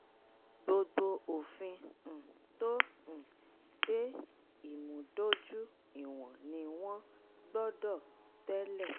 gbogbo òfin um tó um de ìmúdójú ìwọ̀n ni wọ́n gbọ́dọ̀ tẹ́lẹ̀.